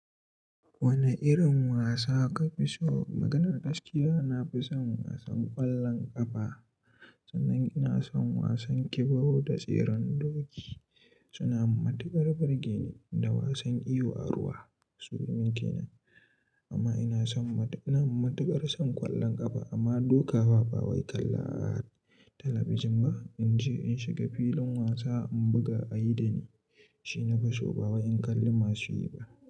Wane irin wasa ka fi so? Maganar gaskiya, na fi son wasan ƙwallon ƙafa. Sannan ina son wasan ƙibo da tseren doki. Suna matuƙar birge ni da wasan iyo a ruwa. Su min ke nan, amma ina son, ina matuƙar son ƙwallon ƙafa amma doka wa, ba wai kalla a talabijin ba. In je in shiga filin wasa, in buga a yi da ni, shi na fi so. Ba wai in kalli masu yi ba.